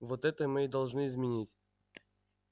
вот это мы и должны изменить